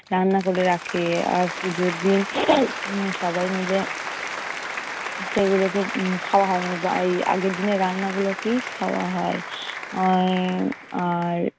রান্না করে রাখে। আর পূজোর দিন সবাই মিলে সেগুলোকে উম খাওয়া হয়, মানে এই আগের দিনের রান্নাগুলোকেই খাওয়া হয়। আহ আর